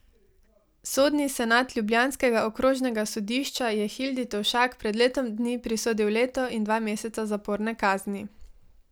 Sodni senat ljubljanskega okrožnega sodišča je Hildi Tovšak pred letom dni prisodil leto in dva meseca zaporne kazni.